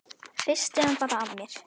Hristi hann bara af mér.